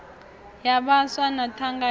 ya vhaswa na thangana ya